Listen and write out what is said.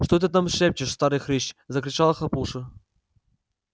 что ты там шепчешь старый хрыч закричал хлопуша